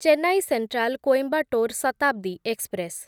Chennai central Coimbatore Shatabdi express